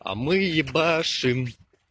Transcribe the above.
а мы ебашим